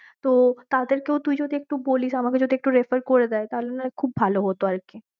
তো তাদের কেউ তুই যদি একটু বলিস, আমাকে যদি একটু refer করেদায়ে তাহলে নয়ে খুব ভালো হত আর কি।